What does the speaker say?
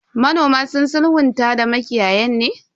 Manoman sun sulhunta da makiyayan ne?